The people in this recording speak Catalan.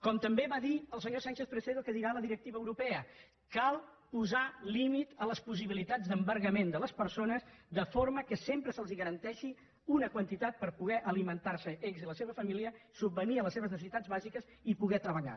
com també va dir el senyor sánchez presedo que dirà la directiva europea cal posar límit a les possibilitats d’embargament de les persones de forma que sempre se’ls garanteixi una quantitat per poder alimentar se ells i la seva família subvenir a les seves necessitats bàsiques i poder treballar